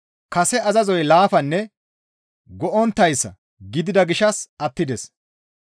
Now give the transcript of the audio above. Kase azazoy laafanne go7onttayssa gidida gishshas attides.